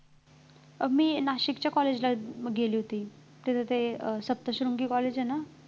मी नाशिकच्या college ला गेले होते तिथं ते अं सप्तशृंगी college आहे ना